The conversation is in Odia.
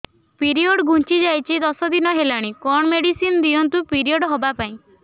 ପିରିଅଡ଼ ଘୁଞ୍ଚି ଯାଇଛି ଦଶ ଦିନ ହେଲାଣି କଅଣ ମେଡିସିନ ଦିଅନ୍ତୁ ପିରିଅଡ଼ ହଵା ପାଈଁ